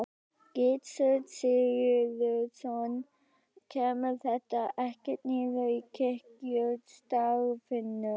Gissur Sigurðsson: Kemur þetta ekkert niður á kirkjustarfinu?